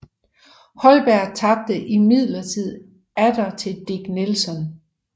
Holberg tabte imidlertid atter til Dick Nelson